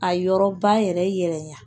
A yɔrɔba yɛrɛ yɛrɛ la